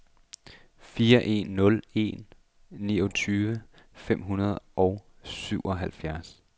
fire en nul en niogtyve fem hundrede og syvoghalvtreds